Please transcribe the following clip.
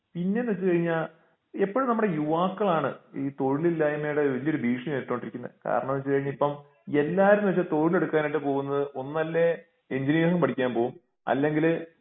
പിന്നെന്ന് വെച്ച് കഴിഞ്ഞാൽ എപ്പോഴും നമ്മുടെ യുവാക്കളാണ് ഈ തൊഴിലില്ലായ്മയുടെ വലിയൊരു ഭീഷണി നേരിട്ടൊണ്ടിരിക്കുന്നേ കാരണം എന്ന് വെച്ച് കഴിഞ്ഞാൽ ഇപ്പോം എല്ലാരും ഇപ്പൊ തൊഴിലെടുക്കനായിട്ട് പോകുന്നത് ഒന്നുല്ലെ എഞ്ചിനീയറിംഗ് പഠിക്കാൻ പോകും അല്ലെങ്കിൽ